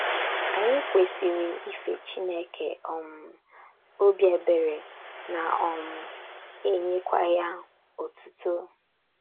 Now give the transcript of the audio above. Anyị kwesịrị ife Chineke um obi ebere, na um - enyekwa ya otuto.